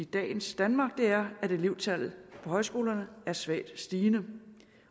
dagens danmark er at elevtallet på højskolerne er svagt stigende